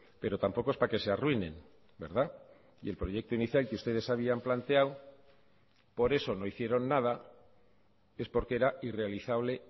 pero tampoco es para que se arruinen verdad y el proyecto inicial que ustedes habían planteado por eso no hicieron nada es porque era irrealizable